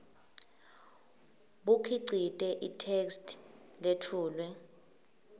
bukhicite itheksthi letfulwe